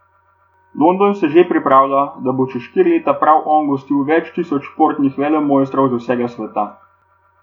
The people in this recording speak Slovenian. London se že pripravlja, da bo čez štiri leta prav on gostil več tisoč športnih velemojstrov z vsega sveta.